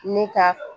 Ne ka